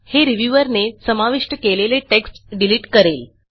हे रिव्ह्यूअर ने समाविष्ट केलेले टेक्स्ट डिलिट करेल